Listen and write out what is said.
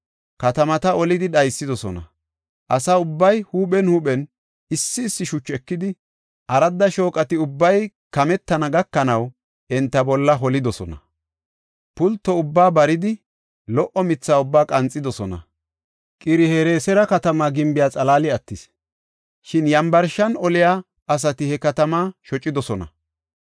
Katamata olidi dhaysidosna. Asa ubbay huuphen huuphen issi issi shuchu ekidi, aradda shooqati ubbay kametana gakanaw, enta bolla holidosona. Pulto ubbaa baridi, lo77o mitha ubbaa qanxidosona. Qir-Hereesera katama gimbiya xalaali attis; shin yambarshan oliya asati he katamaa shocidosona.